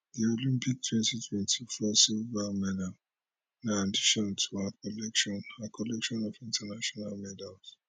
di olympic 2024 silver medal na addition to her collection her collection of international medals